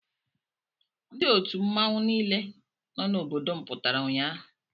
Ndị otu mmọnwụ niile nọ n'obodo m pụtara ụnyaahụ.